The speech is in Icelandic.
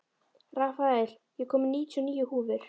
Rafael, ég kom með níutíu og níu húfur!